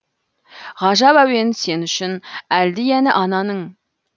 ғажап әуен сен үшін әлди әні ананың